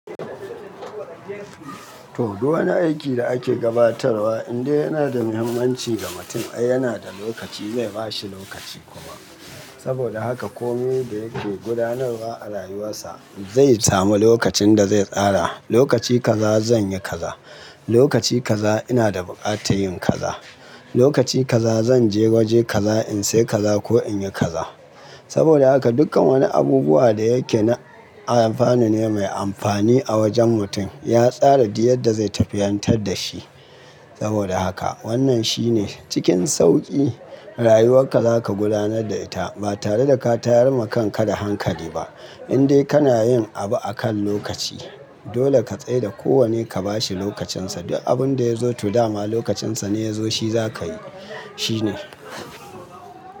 To, duk wani aiki da ake gabatarwa, indai yana da muhimmanci ga mutum. Ai, yana da lokaci, zai ba shi lokaci kuma. Saboda haka komai da yake gudanarwa a rayuwarsa zai samu lokacin da zai tsara. Lokaci kaza zan yi kaza, lokaci kaza ina da buƙatar yin kaza, lokaci kaza zan je waje kaza in sai kaza ko in yi kaza. Saboda haka dukkan wani abubuwa da yake na amfani ne mai amfani a wajen mutum. Ya tsara duk yadda zai tafiyantar da shi. Saboda haka wannan shine cikin sauƙi rayuwarka za ka gudanar da ita ba tare da ka tayar ma kan ka da hankali ba. Indai kana yin abu akan lokaci. Dole ka tsai da kowane ka ba shi lokacinsa. Duk abun da ya zo to dama lokacinsa ne ya zo shi za ka yi, shi ne.